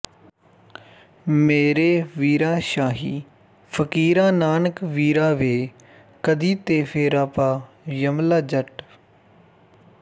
ਮੇਰੇ ਵੀਰਾ ਸ਼ਾਹੀ ਫ਼ਕੀਰਾ ਨਾਨਕ ਵੀਰਾ ਵੇ ਕਦੀ ਤੇ ਫੇਰਾ ਪਾ ਯਮਲਾ ਜੱਟ